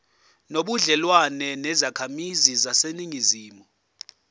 nobudlelwane nezakhamizi zaseningizimu